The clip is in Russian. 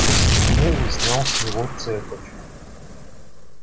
расстегнул и снял с него цепочку